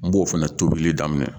N b'o fana tobili daminɛ.